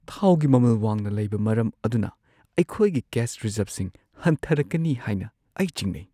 ꯊꯥꯎꯒꯤ ꯃꯃꯜ ꯋꯥꯡꯅ ꯂꯩꯕ ꯃꯔꯝ ꯑꯗꯨꯅ ꯑꯩꯈꯣꯏꯒꯤ ꯀꯦꯁ ꯔꯤꯖꯔꯕꯁꯤꯡ ꯍꯟꯊꯔꯛꯀꯅꯤ ꯍꯥꯏꯅ ꯑꯩ ꯆꯤꯡꯅꯩ ꯫